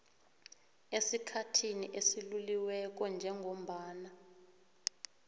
esikhathini esiluliweko njengombana